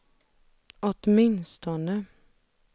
åtminstone